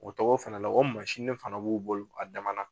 O tɔgɔ fana la o mansini fana b'o bolo a damanda.